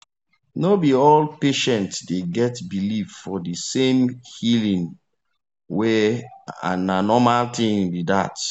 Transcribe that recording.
no be all patient dey get believe for the same healing way and na normal thing be that